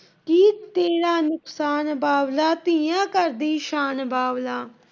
ਤੇਰਾ ਨੁਕਸਾਨ ਬਾਬਲਾ, ਧੀਆਂ ਘਰ ਦੀ ਸ਼ਾਨ ਬਾਬਲਾ।